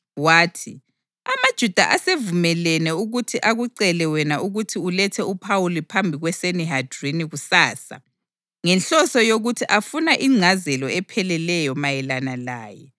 Wathi: “AmaJuda asevumelene ukuthi akucele wena ukuthi ulethe uPhawuli phambi kweSanihedrini kusasa ngenhloso yokuthi afuna ingcazelo epheleleyo mayelana laye.